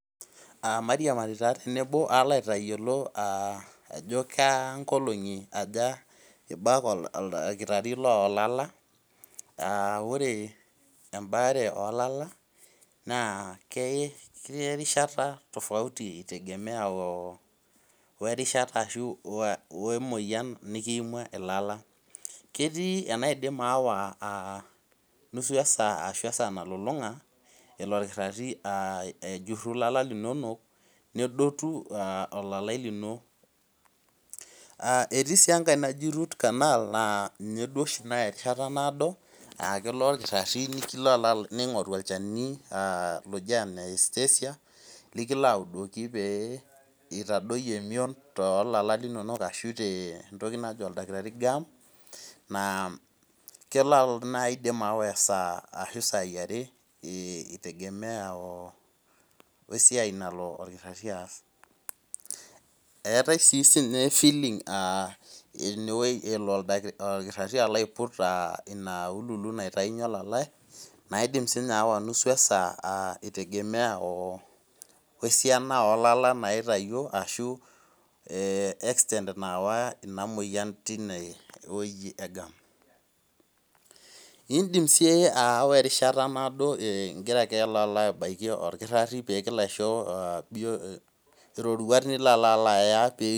Aa maiiriamari raa teno palo aliki ajo kankolongi aja ibak oldakitari lolala aa ore embaare olala na keriahata tofauti werishata emoyian nikiimua lala ketii enaya nalulunga ejuru lala linonok nedotu olalae lino etii si enkae naya erishata naado akeli irkirarin ningoru olchani anaa anaestatia likilo audoku peitadoyio emion tentoki najo oldakitari gum na keidim ayawa esaa ashu sai are itemegea esiai nalob orkirari aas eetae sinye filling nalo oldakitari aiput tenkitaunye olalae naidim sinye ayawa esaa aa itegemea esiana olala oitawuo tinewueji egam indim si ayawa erishata naado ingira alo anaki orkirari kingira alo aisho roruat nilo alo aya